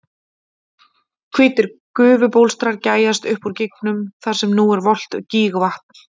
Hvítir gufubólstrar gægjast upp úr gígnum þar sem nú er volgt gígvatn.